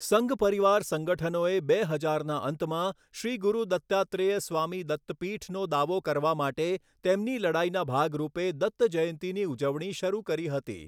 સંઘ પરિવાર સંગઠનોએ બે હજારના અંતમાં 'શ્રી ગુરુ દત્તાત્રેય સ્વામી દત્તપીઠ'નો દાવો કરવા માટે તેમની લડાઈના ભાગરૂપે 'દત્ત જયંતી'ની ઉજવણી શરૂ કરી હતી.